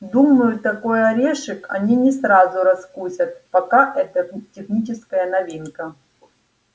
думаю такой орешек они не сразу раскусят пока это техническая новинка